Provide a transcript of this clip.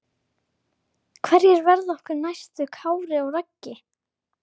Hverjir verða okkar næstu Kári og Raggi?